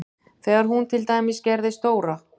Þegar hún til dæmis gerði stóra